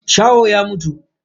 Shahon ya mutu.